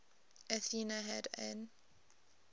athena had an